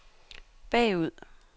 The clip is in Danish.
bagud